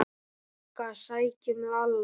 BOGGA: Sækjum Lalla!